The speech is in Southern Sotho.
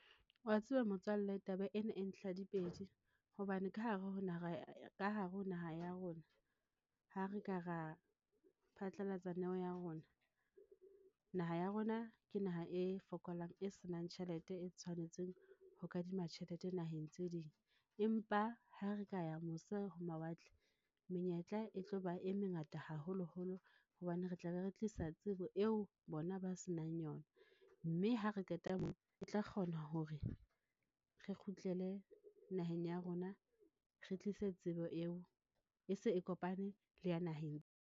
Wa tseba motswalle taba ena e ntlha dipedi hobane ka hare ho naha ya rona, ha re ka ra phatlalatsa neo ya rona. Naha ya rona ke naha e fokolang e senang tjhelete e tshwanetseng ho kadima tjhelete naheng tse ding. Empa ha re ka ya mose ho mawatle. Menyetla e tlo ba e mengata haholoholo hobane re tlabe re tlisa tsebo eo bona ba se nang yona, mme ha re qeta moo, e tla kgona hore re kgutlele naheng ya rona, re tlise tsebo eo e se e kopane le ya naheng.